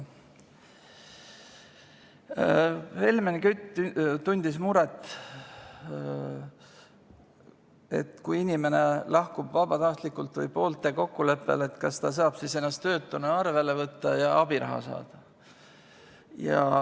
Helmen Kütt tundis muret, et kui inimene lahkub vabatahtlikult või poolte kokkuleppel, kas ta saab siis ennast töötuna arvele võtta ja abiraha saada.